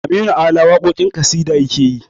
Aminu ala waƙoƙin ƙasida yakeyi